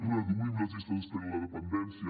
reduïm les llistes d’espera en la dependència